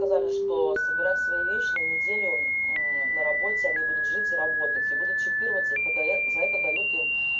сказали что собирай свои вещи на неделю на работе они будут жить и работать и будут чипировать и за это дают им